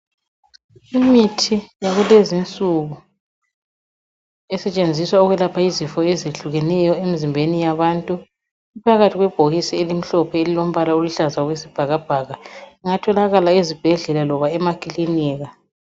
Imithi yakulezinsuku esetshenziswa ukwelapha izifo ezehlukeneyo emzimbeni yabantu iphakathi kwebhokisi elimhlophe elilombala oluhlaza okwesibhakabhaka, ingatholakala ezibhedlela loba emakilika.